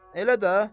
Elə də?